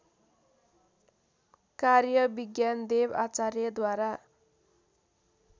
कार्य विज्ञानदेव आचार्यद्वारा